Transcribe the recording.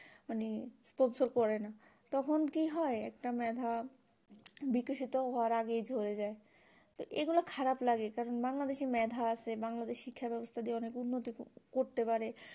মানে sponsor করে না তখন কি হয় একটা মেধা বিকশিত হওয়ার আগেই ঝরে যাই এগুলা খারাপ লাগে কারণ বাংলাদেশ এ মেধা আছে বাংলাদেশ এ শিক্ষা ব্যবস্থা দিয়ে অনেক উন্নতি করতে পারে